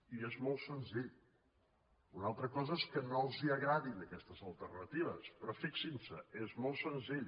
i és molt senzill una altra cosa és que no els agradin aquestes alternatives però fixin s’hi és molt senzill